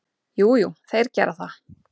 Jú, jú, þeir gera það.